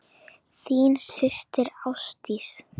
Þín systir, Ásdís.